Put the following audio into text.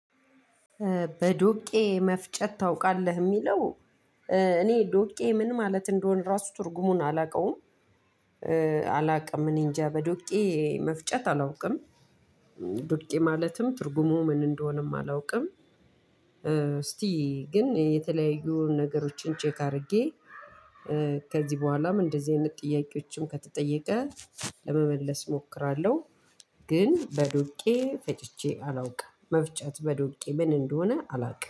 በዶቄ መፍጨት ታውቃለህ የሚለው እኔ ዶቄ ምን ማለት እንደሆነ ራሱ ትርጉሙን አላውቀውም። አላውቀም እኔ እንጃ በዶቄ መፍጨት አላውቅም። ዶቄ ማለትም ትርጉሙ ምን እንደሆነም አላውቅም። እስቲ ግን የተለያዩ ነገሮችን ቼክ አድርጌ ከዚህ በኃላም እንደዚህ አይነት ጥያቄ ከተጠየቀ ለመመለስ እሞክራለሁ። ግን በዶቄ ፈጭቼ አላውቅም በዶቄ ምን እንደሆነ አላውቅም